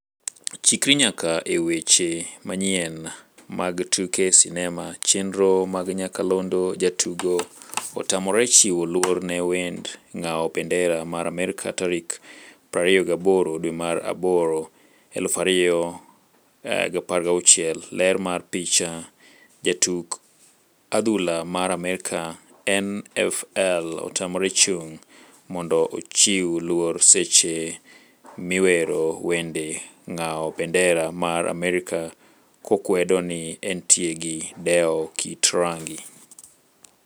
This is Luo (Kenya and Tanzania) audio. Chikri nyaka e weche manyien mar tuke sinema chenro mag nyakalondo Jatugo otamore chiwo luor ne wend ng'awo bandera mar Amerka tarik 28 dwe mar aboro, 2016. Ler mar picha, jatuk adhula mar Amerka NFL otamore chung' mondo ochiw luor seche miwero wend ng'awo bendera mar Amerka kokwedo ni entie gi dewo kit rangi.